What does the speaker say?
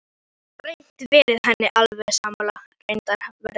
Gat reyndar verið henni alveg sammála.